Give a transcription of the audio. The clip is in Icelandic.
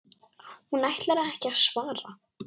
Hún ætlar ekki að svara.